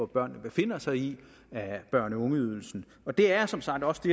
børnene befinder sig i af børne og ungeydelsen og det er som sagt også det